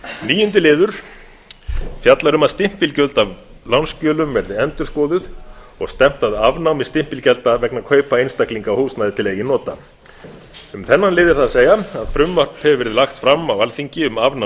níundi liður fjallar um að stimpilgjöld af lánsskjölum verði endurskoðuð og stefnt að afnámi stimpilgjalda vegna kaupa einstaklinga á húsnæði til eigin nota um þennan lið er það að segja að frumvarp hefur verið lagt fram á alþingi um afnám